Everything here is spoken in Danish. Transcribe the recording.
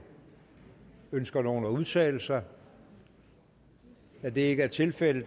ønsker nogen at udtale sig da det ikke er tilfældet